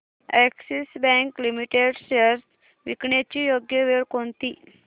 Axis bank limited shares विकण्याची योग्य वेळ कोणती